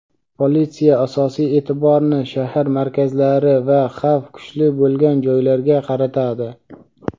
Politsiya asosiy e’tiborni shahar markazlari va xavf kuchli bo‘lgan joylarga qaratadi.